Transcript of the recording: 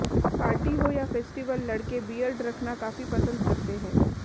party हो या festival लड़के बीयर्ड रखनाा काफी पसंद करते है